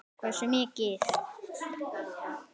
Hversu mikið?